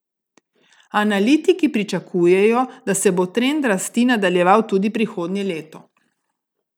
Analitiki pričakujejo, da se bo trend rasti nadaljeval tudi prihodnje leto.